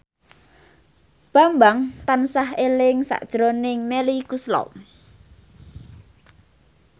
Bambang tansah eling sakjroning Melly Goeslaw